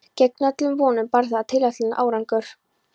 Gegn öllum vonum bar það tilætlaðan árangur.